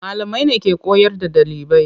Malamai ne ke koyar da ɗalibai.